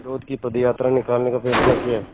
विरोध की पदयात्रा निकालने का फ़ैसला किया